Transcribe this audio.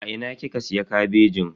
A ina kika siya kabejin?